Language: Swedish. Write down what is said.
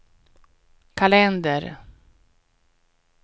kalender